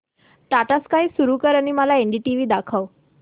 Tata Sky सुरू कर आणि मला एनडीटीव्ही दाखव